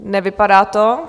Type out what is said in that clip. Nevypadá to.